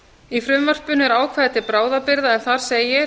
í frumvarpinu er ákvæði til bráðabirgða